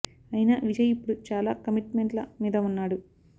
అయినా విజయ్ ఇప్పుడు చాలా కమిట్ మెంట్ ల మీద వున్నాడు